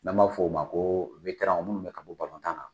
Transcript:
N' an b'a fɔ o ma ko wetaranw minnu bɛ ka bɔ balontan na.